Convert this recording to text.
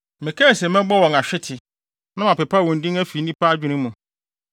Mekae se mɛbɔ wɔn ahwete na mapepa wɔn din afi nnipa adwene mu.